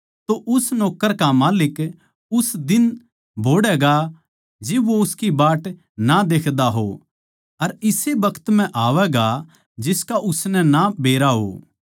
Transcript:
तो उस नौक्कर का माल्लिक उस दिन बोहड़ैगा जिब वो उसकी बाट ना देख्दा हो अर इसे बखत म्ह आवैगा जिसका उसनै ना बेरा हो